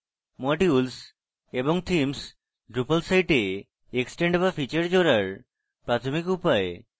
modules এবং themes drupal সাইটে extend বা ফীচার জোড়ার প্রাথমিক উপায়